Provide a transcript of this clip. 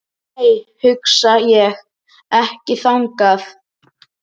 Nei, ég hugsa ekki þannig.